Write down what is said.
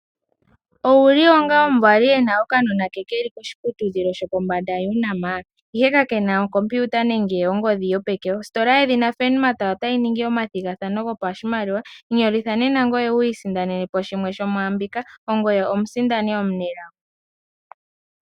Owuli onga omuvali ena okanona ke keli koshiputudhilo shopombanda Unama ihe ka kena okompiuta nenge ongodhi yopeke. Ositola yedhina Furnmart otayi ningi omathigathano gopashimaliwa. Inyolitha nena ngoye wu isindanene shimwe yomwaambika, ongoye omusindani omunelago.